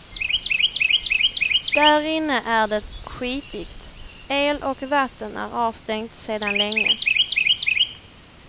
Därinne är det skitigt, el och vatten är avstängt sedan länge.